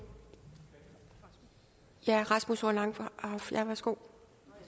det herre rasmus horn langhoff værsgo